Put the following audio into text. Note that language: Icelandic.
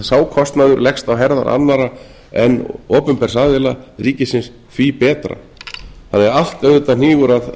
sá kostnaður leggst á herðar annarra en opinbers aðila ríkisins því betra þannig að allt auðvitað hnígur að